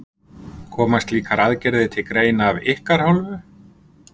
Koma slíkar aðgerðir til greina af ykkar hálfu?